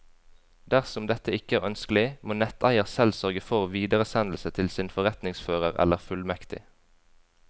Dersom dette ikke er ønskelig, må netteier selv sørge for videresendelse til sin forretningsfører eller fullmektig.